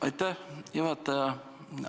Aitäh, juhataja!